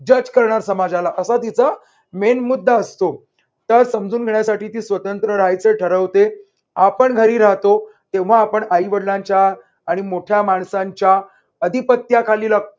जज करणार समाजाला असा तिचा main मुद्दा असतो. त्याला समजून घेण्यासाठी ती स्वतंत्र राहायचं ठरवते. आपण घरी राहतो तेव्हा आपण आई-वडिलांच्या आणि मोठ्या माणसांच्या अधिपत्याखाली राह